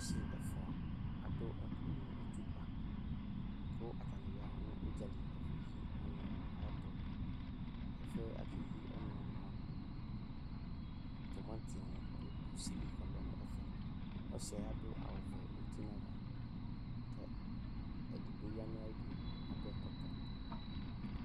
Asi ɛfua adu ɛku mu itsukpa k'atani ya nu údzali ɛfu yi ɔnu ayɛtu, ɛfuɛ̃ k'aka eyi ɔnuwa ni yɛ mua, tumatí ni du kusi li k'ɔlɛ n'ɛƒɛ, ɔsiɛ adu awu vɛ úti n'ava ,k' edigbo ya nu ayi du, adu ɛkɔtɔ